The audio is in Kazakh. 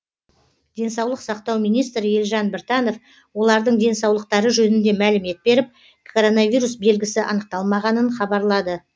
денсаулық сақтау министрі елжан біртанов олардың денсаулықтары жөнінде мәлімет беріп коронавирус белгісі анықталмағанын хабарлады